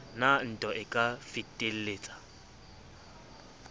na ntwa e ka fetelletsang